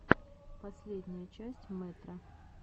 последняя часть мэтро